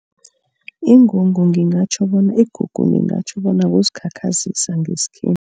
Ingungu ngingatjho bona igugu ngingatjho bona kuzikhakhazisa